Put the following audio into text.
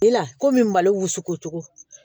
La kɔmi mali wusu ko cogo